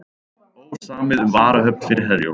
Ósamið um varahöfn fyrir Herjólf